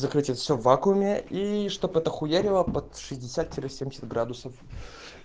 закрыть это всё в вакууме и чтоб это хуярило под шестьдесят тире семьдесят градусов